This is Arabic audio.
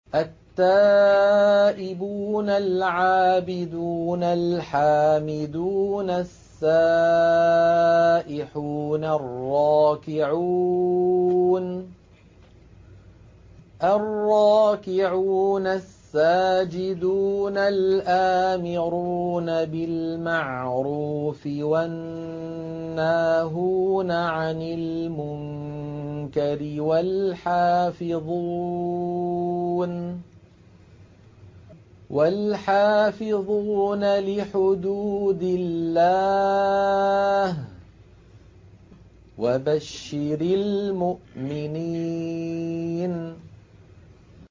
التَّائِبُونَ الْعَابِدُونَ الْحَامِدُونَ السَّائِحُونَ الرَّاكِعُونَ السَّاجِدُونَ الْآمِرُونَ بِالْمَعْرُوفِ وَالنَّاهُونَ عَنِ الْمُنكَرِ وَالْحَافِظُونَ لِحُدُودِ اللَّهِ ۗ وَبَشِّرِ الْمُؤْمِنِينَ